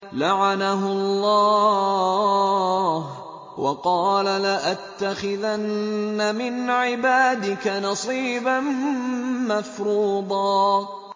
لَّعَنَهُ اللَّهُ ۘ وَقَالَ لَأَتَّخِذَنَّ مِنْ عِبَادِكَ نَصِيبًا مَّفْرُوضًا